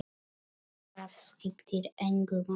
Það skiptir engu máli.